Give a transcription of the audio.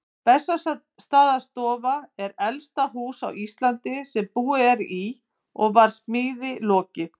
Bessastaðastofa er elsta hús á Íslandi sem búið er í og var smíði lokið